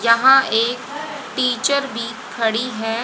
यहां एक टीचर भी खड़ी है।